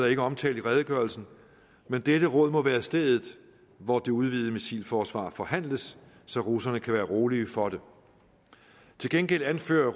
ikke omtalt i redegørelsen men dette råd må være stedet hvor det udvidede missilforsvar forhandles så russerne kan være rolige for det til gengæld anfører